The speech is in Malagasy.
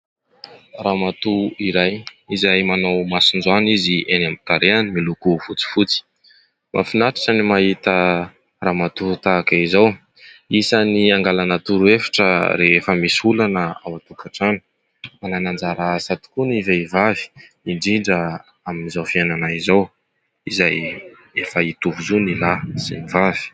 Ramatoa iray izay manao masonjoany izy eny amin'ny tarehiny miloko fotsifotsy, mahafinatritra ny mahita ramatoa tahaka izao ; isan'ny angalana toro- hevitra rehefa misy olana ao an-tonkatrano . Manana anjara asa tokoa ny vehivavy, indrindra amin'izao fiainana izao , izay efa hitovy zo ny lahy sy ny vavy.